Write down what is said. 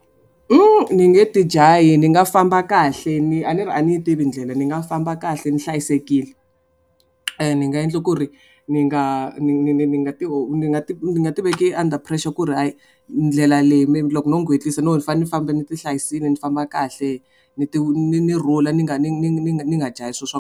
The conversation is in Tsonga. Ni nge ti jahi ni nga famba kahle ni a ni ri a ni yi tivi ndlela ni nga famba kahle hlayisekile. Ni nga endla ku ri ni nga ni ni ni ni nga ti ni nga ti ni nga ti veki under pressure ku ri hayi ndlela leyi loko no ngwetlisa no ni fanele ni famba ni ti hlayisile ni famba kahle ni ti ni ni rhula ni nga ni ni ni ni nga jahi swilo swa.